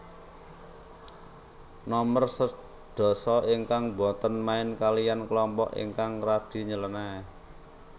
Nomer sedasa ingkang boten main kaliyan kelompok ingkang radi nylenéh